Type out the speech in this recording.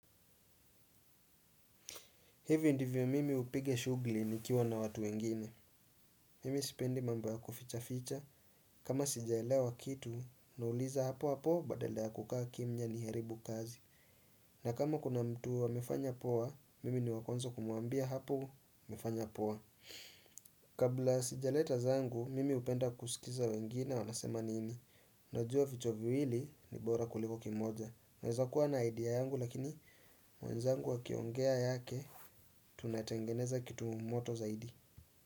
Hivyo ndivyo mimi hupiga shughuli nikiwa na watu wengine. Mimi sipendi mambo ya kufichaficha. Kama sijaelewa kitu, nauliza hapo hapo badala ya kukaa kimya niharibu kazi. Na kama kuna mtu amefanya poa, mimi ni wa kwanza kumwambia hapo umefanya poa. Kabla sijaleta zangu, mimi hupenda kusikiza wengine wanasema nini. Najua vichwa viwili ni bora kuliko kimoja. Naeza kuwa na idea yangu lakini mwenzangu akiongea yake tunatengeneza kitu moto zaidi.